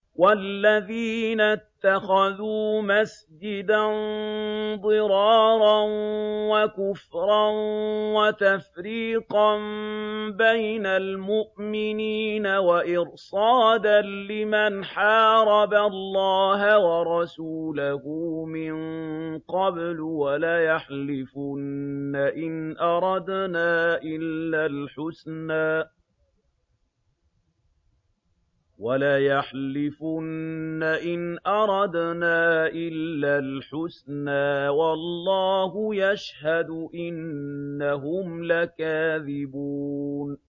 وَالَّذِينَ اتَّخَذُوا مَسْجِدًا ضِرَارًا وَكُفْرًا وَتَفْرِيقًا بَيْنَ الْمُؤْمِنِينَ وَإِرْصَادًا لِّمَنْ حَارَبَ اللَّهَ وَرَسُولَهُ مِن قَبْلُ ۚ وَلَيَحْلِفُنَّ إِنْ أَرَدْنَا إِلَّا الْحُسْنَىٰ ۖ وَاللَّهُ يَشْهَدُ إِنَّهُمْ لَكَاذِبُونَ